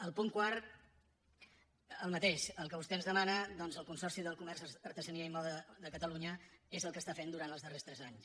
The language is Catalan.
el punt quart el mateix el que vostè ens demana doncs el consorci del comerç artesania i moda de catalunya és el que està fent durant els darrers tres anys